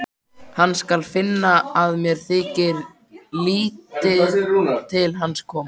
Hann skal finna að mér þykir lítið til hans koma.